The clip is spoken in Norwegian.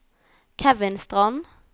Kevin Strand